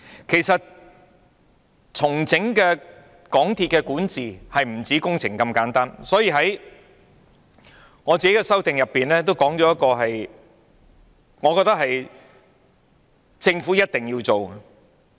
其實，重整港鐵管治不止工程那麼簡單，所以我在修正案中提出一個我認為政府一定要做的事項。